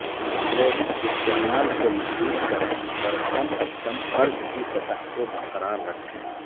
credit استعمال کو محدود کریں اور کم از کم قرض کی سطح کو برقرار رکھیں